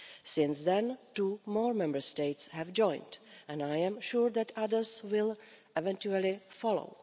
Since then, two more Member States have joined and I am sure that others will eventually follow.